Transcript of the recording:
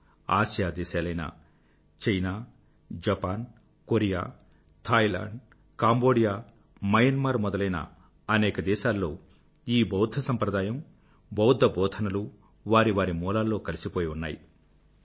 అనేక ఆసియా దేశాలైన China Japan Korea Thailand Cambodia Myanmar మొదలైన అనేక దేశాల్లో ఈ బౌధ్ధ సంప్రదాయం బౌధ్ధ బోధనలు వారి వారి మూలాల్లో కలిసిపోయి ఉన్నాయి